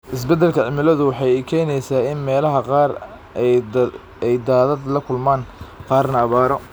Isbeddelka cimiladu waxa ay keenaysaa in meelaha qaar ay daadad la kulmaan, qaarna abaaro.